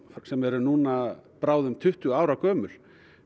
sem eru bráðum tuttugu ára gömul